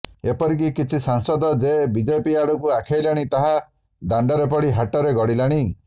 ଏପରିକି କିଛି ସାଂସଦ ଯେ ବିଜେପି ଆଡକୁ ଆଖେଇଲେଣି ତାହା ଦାଣ୍ଡରେ ପଡି ହାଟରେ ଗଡିଲାଣି